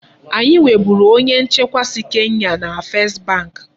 Anyị nweburu onye nchekwa si Kenya na First bank.